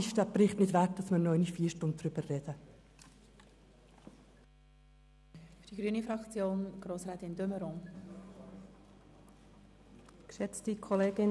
Dieser Bericht ist es nicht wert, dass wir erneut vier Stunden darüber sprechen.